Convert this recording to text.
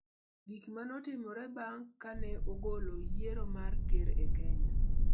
Gik ma ne Otimore Bang ' Ka Nogolo Yiero mar Ker e Kenya